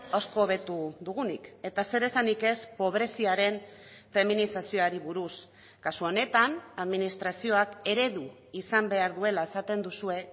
asko hobetu dugunik eta zer esanik ez pobreziaren feminizazioari buruz kasu honetan administrazioak eredu izan behar duela esaten duzue